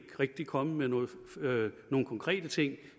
rigtig kommet med nogen konkrete ting